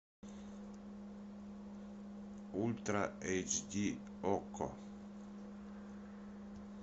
ультра эйч ди окко